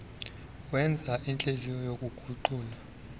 wenza uhlinzo lokuguqula